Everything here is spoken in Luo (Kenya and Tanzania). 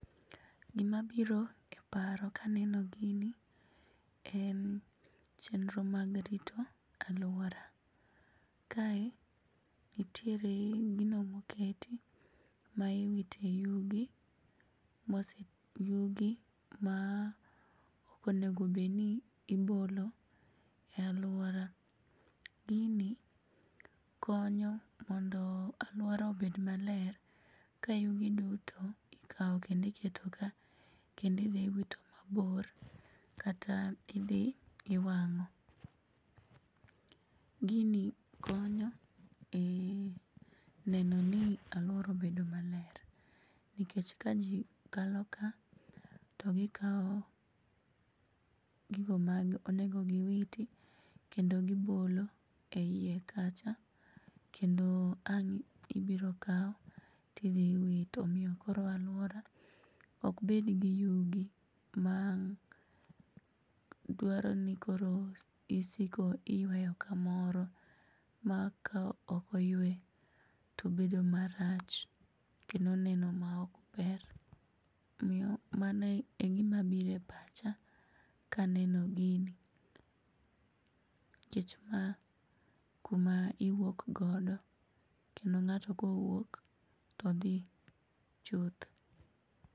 Gimabiro e paro kaneno gini en chenro mag rito aluora. Kae nitiere gino moketi maiwite yugi maokonego bedni ibolo e aluora. Gini konyo mondo aluora obed maler kayugi duto ikao kendo iketo ka kendo idhi iwito mabor kata idhi iwang'o. Gini konyo ee nenoni aluora obedo maler nikech kajii kalo ka to gikao gigo ma onego giwiti kendo gibolo eiye kacha kendo ang' ibiro kau tidhi iwito, omiyo koro aluora okbedgi yugi madwaroni koro isiko iyuayo kamoro ma ka okoyue to bedo marach kendo neno ma okber miyo mano e gimabire pacha kaneno gini kech ma kuma iwuok godo kendo ng'ato kowuok todhi chuth.